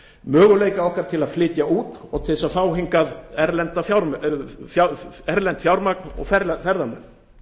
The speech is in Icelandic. möguleika okkar til að flytja út og til að fá hingað erlent fjármagn og ferðamenn